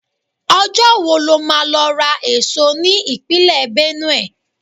Ọjọ́ wo lo máa lọ ra èso ní Ìpínlẹ̀ Benue?